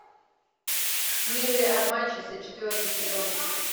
милые обманщицы четвертый сезон